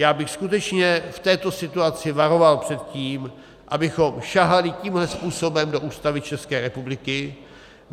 Já bych skutečně v této situaci varoval před tím, abychom sahali tímhle způsobem do Ústavy České republiky.